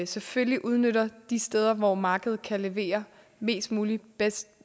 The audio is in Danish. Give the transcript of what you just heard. selvfølgelig udnytter de steder hvor markedet kan levere mest muligt bedst